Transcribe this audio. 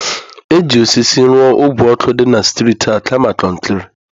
Eji osisi rụọ ogwe ọkụ dị na streetị a kama kọnkịrị